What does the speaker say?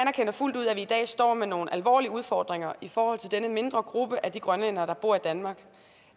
fuldt ud at vi i dag står med nogle alvorlige udfordringer i forhold til denne mindre gruppe af de grønlændere der bor i danmark